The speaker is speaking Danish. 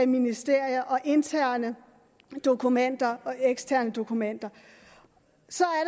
ministerier og interne dokumenter og eksterne dokumenter